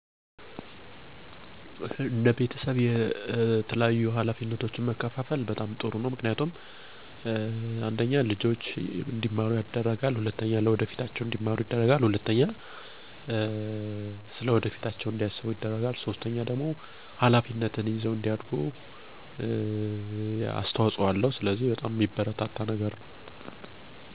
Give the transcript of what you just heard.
በቤተሰብ ዉስጥ በዕለት ተዕለት ህይወት የቤት ውስጥ ኃላፊነቶችን መከፋፈል ጠቃሚ ነው። እነዚህ ኃላፊነቶች መከፍፈል ያለባቸው የቤተሰብ አባላት እንዳላቸው ጊዜ እና ችሎታ ነው፤ ምክንያቱም ይህንን ያላገናዘበ ከሆነ የተሰጣቸውን ኃላፊነት ካለመወጣት ባሻገር ኃላፊነቱ በአንድ ወይም ሰው ላይ ብቻ ያረፈ ይሆናል። ቀደም ባሉት ጊዚያት በተለምዶ በቤት ዉስጥ ምግብ መስራት እና ልጆችን መንከባከብ የእናት ኃላፊነት፣ ቤት ማፅዳት እና እቃዎችን ማጠብ የሴት ልጅ ኃላፊነት፣ ትምህርት መማር የወንድ ልጅ እና ወጥቶ ሠርቶ ገንዘብ ማምጣት ደግሞ የአባት ኃላፊነት ተደርጐ ይወስዳል። አሁን ባለንበት በጊዜ ሂደት የተወሰኑ ኃላፊነቶች ተቀይረዋል፤ ለምሳሌ፦ አባት ምግብ ከመስራት እስከ ልጆችን መንከባከብ እናትን ያግዛል፣ ሴት ልጅም በቤት ውስጥ ስራ ከማገዝ ባሻገር ለመማር ኃላፊነት አለባት።